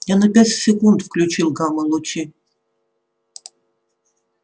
я на пять секунд включил гамма-лучи